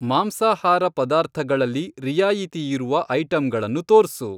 ಮಾಂಸಾಹಾರ ಪದಾರ್ಥಗಳಲ್ಲಿ ರಿಯಾಯಿತಿಯಿರುವ ಐಟಂಗಳನ್ನು ತೋರ್ಸು.